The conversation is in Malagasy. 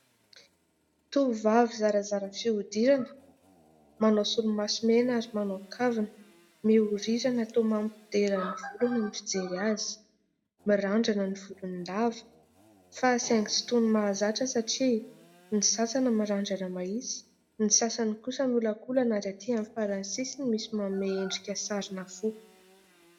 Tovovavy zarazara fihodirana manao solomaso mena ary manao kavina, miorirana toa mampideran'ny volony ny fijery azy, mirandrana ny volony lava fa saingy tsy toy ny mahazatra satria ny sasany mirandrana mahitsy, ny sasany kosa miolakolana ary aty amin'ny farany sisiny misy manome endrika sarina fo.